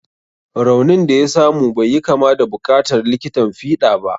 Raunin da ya samu bai yi kama da buƙatar likitan fiɗa ba.